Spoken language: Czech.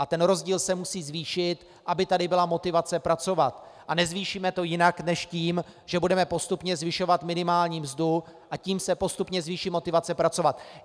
A ten rozdíl se musí zvýšit, aby tady byla motivace pracovat, a nezvýšíme to jinak než tím, že budeme postupně zvyšovat minimální mzdu, a tím se postupně zvýší motivace pracovat.